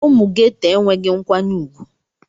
Ụmụ Geto enweghị nkwanye ùgwù.